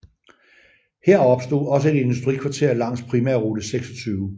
Her opstod også et industrikvarter langs primærrute 26